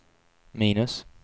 minus